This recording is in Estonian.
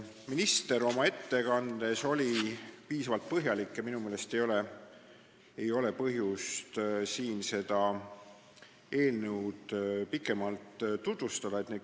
Minister oli oma ettekandes piisavalt põhjalik ja minu meelest ei ole põhjust seda eelnõu siin enam pikemalt tutvustada.